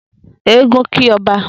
Eégún kí ọba